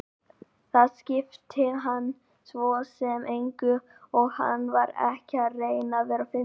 Það skipti hann svo sem engu og hann var ekki að reyna að vera fyndinn.